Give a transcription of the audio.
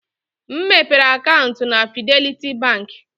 M mepere akaụntụ na Fidelity Bank.